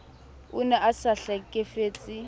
o ne a sa hlekefetse